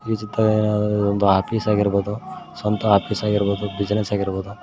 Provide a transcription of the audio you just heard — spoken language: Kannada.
ಒಂದು ಆಫೀಸ್ ಆಗಿರ್ಬಹುದು ಸ್ವಂತ ಆಫೀಸ್ ಆಗಿರ್ಬಹುದು ಬಿಸಿನೆಸ್ ಆಗಿರ್ಬಹುದು.